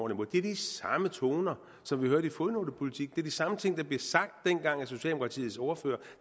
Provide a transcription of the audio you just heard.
det er de samme toner som vi hørte i fodnotepolitikken det er de samme ting der blev sagt dengang af socialdemokratiets ordfører